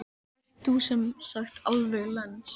En þú ert sem sagt alveg lens?